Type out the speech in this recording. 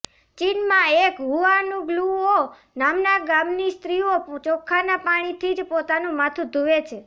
ચીનમાં એક હુઆનગ્લુઓ નામના ગામની સ્ત્રીઓ ચોખાના પાણીથી જ પોતાનું માથુ ધુએ છે